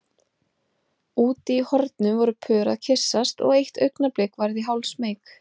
Úti í hornum voru pör að kyssast og eitt augnablik varð ég hálfsmeyk.